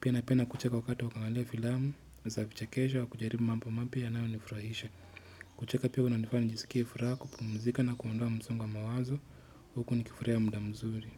Pia napenda kucheka wakati wa kuangalia filamu, za kuchekesha kujaribu mambo mapya yanaonifurahisha. Kucheka pia kuna nifanya nisikie furaha pumzika na kuondoa msongo wa mawazo, huku nikifuria muda mzuri.